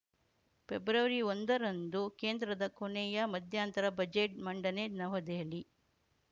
ಪ್ರೆಬ್ರವರಿಒಂದರಂದು ಕೇಂದ್ರದ ಕೊನೆಯ ಮಧ್ಯಂತರ ಬಜೆಟ್‌ ಮಂಡನೆ ನವದೆಹಲಿ